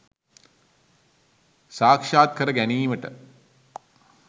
සාක්ෂාත් කර ගැනීමට